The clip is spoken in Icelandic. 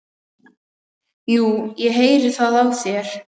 Jú, ég heyri það á þér.